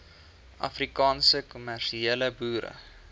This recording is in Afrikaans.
afrikaanse kommersiële boere